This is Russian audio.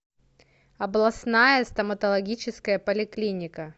областная стоматологическая поликлиника